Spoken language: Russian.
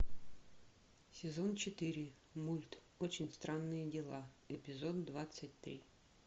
сезон четыре мульт очень странные дела эпизод двадцать три